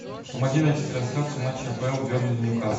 помоги найти трансляцию матча апл бернли нью касл